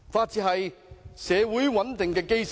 治安是社會穩定的基石。